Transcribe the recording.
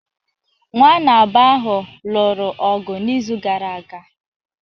Nwanna abụọ ahụ lụrụ ọgụ n’izu gara aga